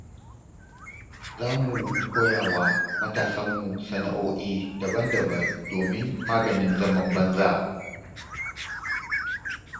Za mu koya wa matasanmu sana'oi'i daban-daban domin maganin zaman banza.